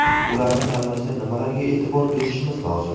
Ularni tanlashda nimalarga e’tibor berishimiz lozim?